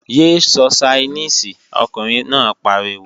Yé sọ Ṣainíìsì, ọkùnrin náà pariwo!